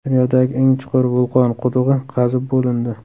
Dunyodagi eng chuqur vulqon qudug‘i qazib bo‘lindi.